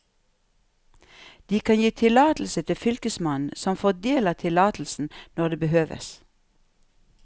De kan gi tillatelse til fylkesmannen, som fordeler tillatelsen når det behøves.